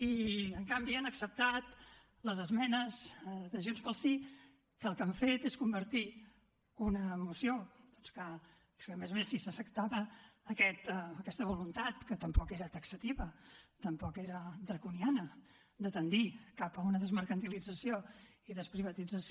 i en canvi han acceptat les esmenes de junts pel sí que el que han fet és convertir una moció doncs que a més a més si s’acceptava aquesta voluntat que tampoc era taxativa tampoc era draconiana de tendir cap a una desmercantilització i desprivatització